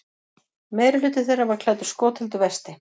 Meirihluti þeirra var klæddur skotheldu vesti